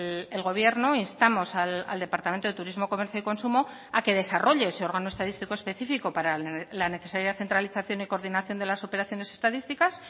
el gobierno instamos al departamento de turismo comercio y consumo a que desarrolle ese órgano estadístico específico para la necesaria centralización y coordinación de las operaciones estadísticas